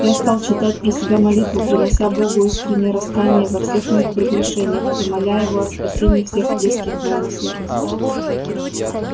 я стал читать про себя молитву принося богу искреннее раскаяние во всех моих прегрешениях и моля его о спасении всех близких моему сердцу